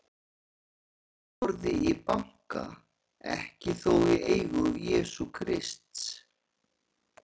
Gullforði í banka, ekki þó í eigu Jesú Krists.